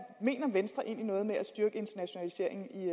venstre egentlig mener noget med at styrke internationaliseringen i